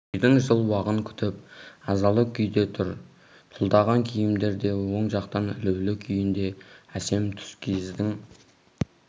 бөжейдің жыл уағын күтіп азалы күйде тұр тұлдаған киімдер де оң жақта ілулі күйінде әсем тұскиіздің